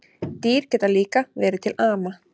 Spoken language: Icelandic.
Dýr geta líka verið til ama